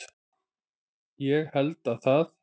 Ég held að það